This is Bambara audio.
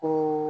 Ko